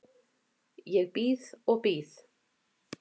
Ég bíð og bíð.